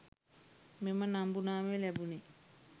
මෙම නම්බු නාමය ලැබුණේ